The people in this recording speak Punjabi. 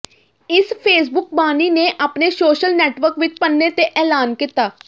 ਇਸ ਫੇਸਬੁੱਕ ਬਾਨੀ ਨੇ ਆਪਣੇ ਸੋਸ਼ਲ ਨੈਟਵਰਕ ਵਿੱਚ ਪੰਨੇ ਤੇ ਐਲਾਨ ਕੀਤਾ